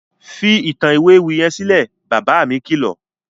Fi ìtàn ìwé ewì yẹn sílẹ̀! Bàbá mi kìlọ̀.